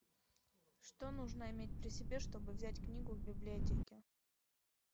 что нужно иметь при себе чтобы взять книгу в библиотеке